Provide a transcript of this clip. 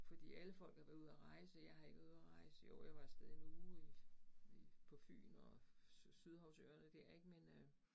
Fordi alle folk har været ude at rejse, og jeg har ikke været ude at rejse, jo jeg var af sted en uge i i på Fyn og Syhavsøerne dér ik, men øh